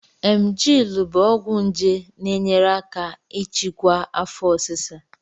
Emgyl bụ ọgwụ nje na-enyere aka ịchịkwa afo osisa